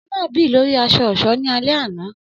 Ọmọ naa bì lori aṣọ-ọṣọ ni alẹ ana